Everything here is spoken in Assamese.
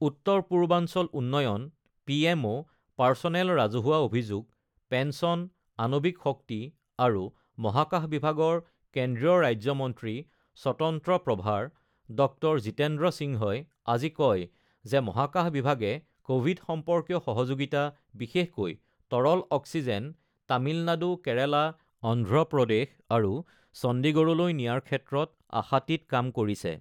উত্তৰ পূৰ্বাঞ্চল উন্নয়ন, পিএমঅ', পাৰছনেল, ৰাজহুৱা অভিযোগ, পেঞ্চন, আনবিক শক্তি আৰু মহাকাশ বিভাগৰ কেন্দ্ৰীয় ৰাজ্য মন্ত্ৰী স্বতন্ত্ৰ প্ৰভাৰ ড৹ জিতেন্দ্ৰ সিংহই আজি কয় যে মহকাশ বিভাগে ক'ভিড সম্পৰ্কীয় সহযোগিতা, বিশেষকৈ তৰল অক্সিজেন তামিলনাডু, কেৰালা, অন্ধ্ৰপ্ৰদেশ আৰু চণ্ডীগড়লৈ নিয়াৰ ক্ষেত্ৰত আশাতীত কাম কৰিছে।